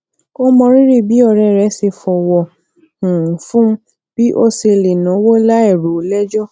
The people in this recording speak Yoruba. ó mọrírì bí òré rè ṣe fòwò um fún bi o se le nawo lai ro o lejo